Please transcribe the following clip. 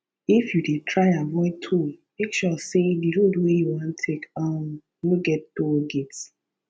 if you dey try avoid toll make sure sey di road wey you wan take um no get toll gate